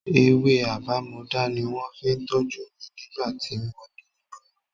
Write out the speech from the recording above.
Ewé àbámọdá ni wọ́n fi tọ́jú mi nígbà tí mo ní ìgbóná.